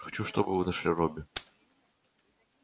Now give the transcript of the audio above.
хочу чтобы вы нашли робби